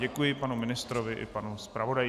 Děkuji panu ministrovi i panu zpravodaji.